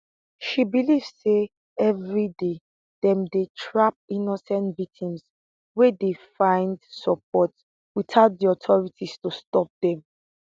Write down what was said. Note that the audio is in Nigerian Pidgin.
she believe say evri day dem dey trap innocent victims wey dey find support witout di authorities to stop dem